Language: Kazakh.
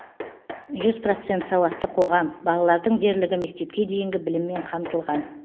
жүз процент сауатты қоғам балалардың дерлігі мектепке дейінгі біліммен қамтылған